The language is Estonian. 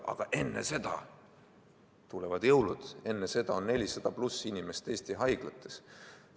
Aga enne seda tulevad jõulud, enne seda on 400+ inimest Eesti haiglates.